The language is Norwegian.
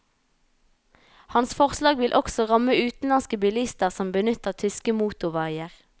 Hans forslag vil også ramme utenlandske bilister som benytter tyske motorveier.